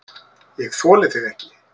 ÉG ÞOLI ÞIG EKKI!